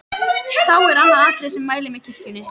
Þá er og annað atriði, sem mælir með kirkjunni.